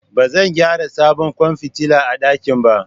Ba zan gyara sabon kwan fitila a dakin ba